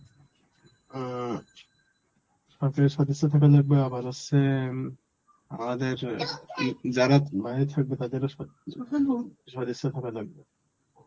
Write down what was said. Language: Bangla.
অ্যাঁ সদস্য থাকা লাগবে আবার হচ্ছে আমাদের যারা বাইরে থাকবে তাদেরও সদস্য থাকা লাগবে.